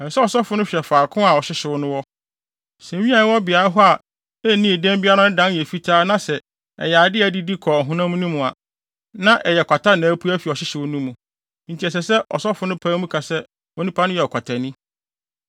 ɛsɛ sɛ ɔsɔfo no hwɛ faako a ɔhyehyew no wɔ. Sɛ nwi a ɛwɔ beae a ɛhɔ nnii dɛm biara no dan yɛ fitaa na sɛ ɛyɛ ade a adidi kɔ ɔhonam no mu a, na ɛyɛ kwata na apue afi ɔhyehyew no mu, enti ɛsɛ sɛ ɔsɔfo no pae mu ka sɛ onipa no yɛ ɔkwatani.